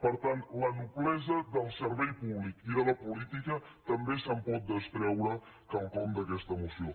per tant de la noblesa del servei públic i de la política també se’n pot treure quelcom d’aquesta moció